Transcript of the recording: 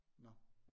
Nåh